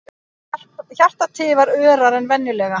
Hjartað tifar örar en venjulega.